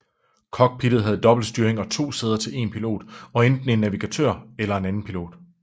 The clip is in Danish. Cockpittet havde dobbeltstyring og to sæder til en pilot og enten en navigatør eller en andenpilot